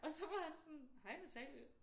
Og så var han sådan hej Natalie